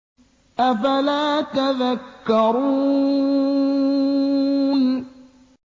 أَفَلَا تَذَكَّرُونَ